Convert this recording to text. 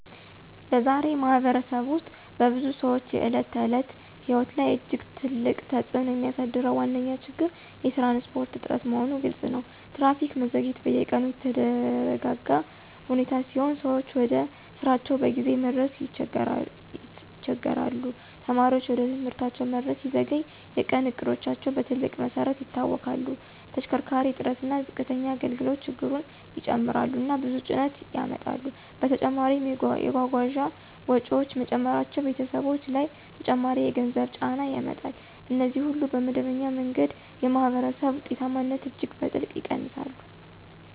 በዛሬ ማኅበረሰብ ውስጥ በብዙ ሰዎች የዕለት ተዕለት ሕይወት ላይ እጅግ ትልቅ ተጽእኖ የሚያሳድረው ዋነኛ ችግር የትራንስፖርት እጥረት መሆኑ ግልፅ ነው። ትራፊክ መዘግየት በየቀኑ የተደጋጋ ሁኔታ ሲሆን ሰዎች ወደ ስራቸው በጊዜ መድረስ ይቸገሣሉ። ተማሪዎች ወደ ትምህርት መድረስ ሲዘገይ የቀን እቅዶቻቸው በትልቅ መሰረት ይታወክላሉ። ተሽከርካሪ እጥረት እና ዝቅተኛ አገልግሎት ችግሩን ይጨምራሉ እና ብዙ ጭነት ያመጣሉ። በተጨማሪም የጓጓዣ ወጪዎች መጨመራቸው ቤተሰቦች ላይ ተጨማሪ የገንዘብ ጫና ያመጣል። እነዚህ ሁሉ በመደበኛ መንገድ የማኅበረሰብ ውጤታማነትን እጅግ በትልቅ ይቀንሳሉ